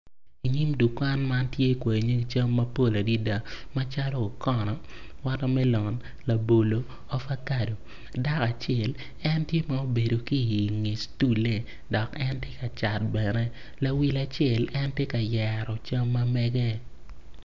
Inyim dukan man tye kwai nyik cam mapol adada macalo okono, watermelon, labolo, avocado dako acel en tye ma obedo ki inge stolle dok en tye ka cat bene lawil acel en tye ka yero cam ma mege.